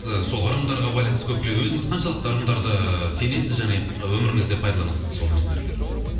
сол ырымдарға байланысты өзіңіз қаншалықты ырымдарды сенесіз және өміріңізде пайдаланасыз сол нәрселерді